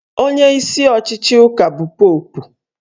Onyeisi ọchịchị ụka bụ Popu